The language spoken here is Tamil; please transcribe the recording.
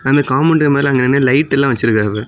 அந்த காம்பவுண்டு மேல அங்கனனே லைட் எல்லா வச்சிருக்காங்க.